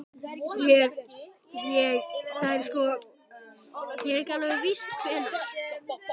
Ég. ég. það er sko. ekki alveg víst hvenær.